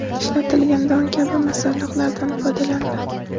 ishlatilgan don kabi masalliqlardan foydalaniladi.